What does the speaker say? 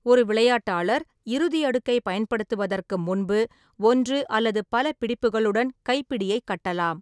ஒரு விளையாட்டாளர் இறுதி அடுக்கை பயன்படுத்துவதற்கு முன்பு ஒன்று அல்லது பல பிடிப்புகளுடன் கைப்பிடியை கட்டலாம்.